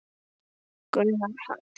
Gunnar Hall.